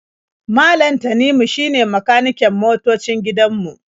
Malam Tanimu shine makaniken motoocin gidan mu.